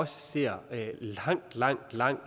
ser